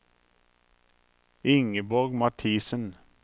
Ingeborg Mathiesen